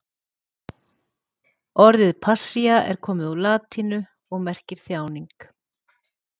Orðið passía er komið úr latínu og merkir þjáning.